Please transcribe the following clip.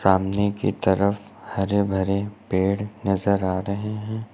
सामने की तरफ हरे भरे पेड़ नजर आ रहे हैं।